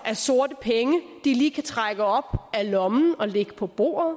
af sorte penge de lige kan trække op af lommen og lægge på bordet